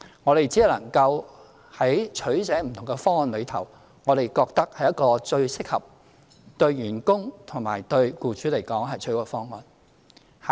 我們只能夠在不同方案中作取捨，找出一個我們認為是最適合，對員工和對僱主而言是最好的方案。